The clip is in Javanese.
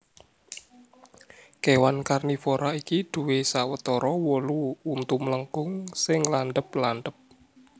Kèwan karnivora iki duwè sawetara wolu untu mlengkung sing landhep landhep